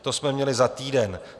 To jsme měli za týden.